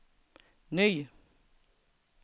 ny